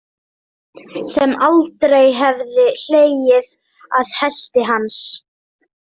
Sem aldrei hefði hlegið að helti hans.